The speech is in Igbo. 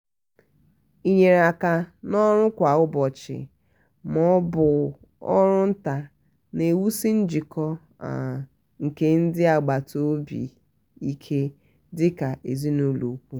inyere aka n'ọrụ kwa um ụbọchi ma ọ bụ ọrụ nta na-ewusi njikọ um nke ndị agbata obi ike dịka ezinụlọ ùkwù.